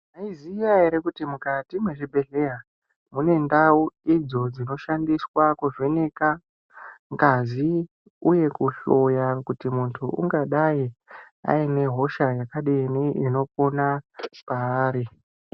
Mwaiziya ere kuti mukati mwezvibhedhlera mune ndau idzo dzinoshandiswa kuvheneka ngazi uye kuhloya kuti muntu ungadai aine hosha yakadini inopona paari.